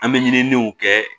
An bɛ ɲiniiniw kɛ